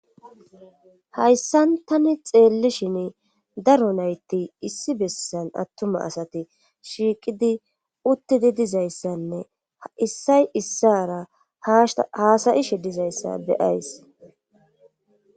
hayssan tani xeellishin daro nayti issi bessan attuma asati shiiqidi uttidi dizayssanne issay issara haasayishe dizayssa be'ays